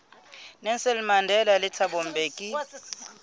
nelson mandela le thabo mbeki